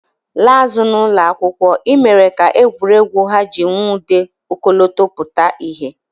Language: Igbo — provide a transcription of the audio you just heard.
Laa azụ n'ụlọ akwụkwọ, e mere ka egwuregwu ha ji nwude ọkọlọtọ pụta ìhè